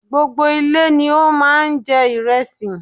Gbogbo ilé ni ó má a n jẹ ìrẹsì